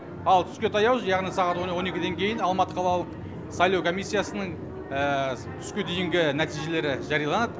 ал түске таяу яғни сағат он екіден кейін алматы қалалық сайлау комиссиясының түске дейінгі нәтижелері жарияланады